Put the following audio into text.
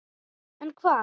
En hvað?